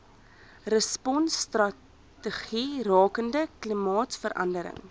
responsstrategie rakende klimaatsverandering